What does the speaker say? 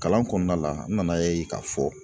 Kalan kɔnɔna la , n nana ye k'a fɔ